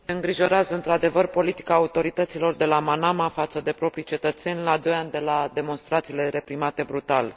Ne îngrijorează, într adevăr, politica autorităților de la Manama față de propriii cetățeni, la 2 ani de la demonstrațiile reprimate brutal.